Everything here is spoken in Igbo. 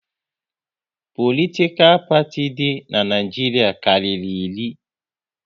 Politikal parti di n'Naijiria karịrị iri